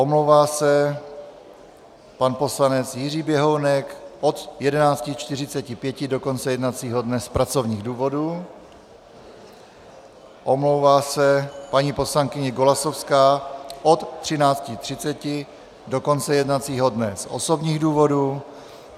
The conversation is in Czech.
Omlouvá se pan poslanec Jiří Běhounek od 11.45 do konce jednacího dne z pracovních důvodů, omlouvá se paní poslankyně Golasowská od 13.30 do konce jednacího dne z osobních důvodů.